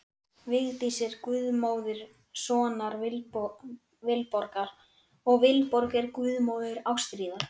Vigdís er guðmóðir sonar Vilborgar, og Vilborg er guðmóðir Ástríðar.